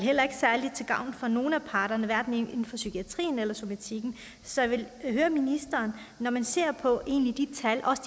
til gavn for nogen af parterne hverken inden for psykiatrien eller somatikken så jeg vil høre ministeren når man ser de